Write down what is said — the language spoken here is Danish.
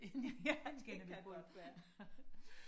ja det kan godt være